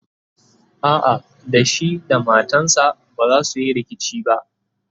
a'a da shi da matansa bazasu Yi rikici ba